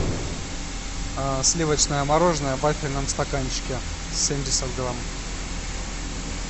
сливочное мороженое в вафельном стаканчике семьдесят грамм